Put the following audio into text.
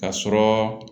Ka sɔrɔ